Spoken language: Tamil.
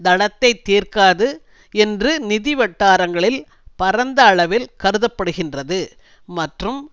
தளத்தைத் தீர்க்காது என்று நிதி வட்டாரங்களில் பரந்த அளவில் கருதப்படுகினறது மற்றும்